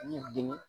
N y'i dimi